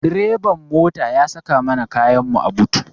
Direban mota ya saka mana kayanmu a but.